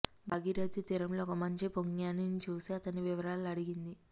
భాగీరథీ తీరంలో ఒక మంచి పుంగవ్ఞని చూసి అతని వివరాలు అడిగింది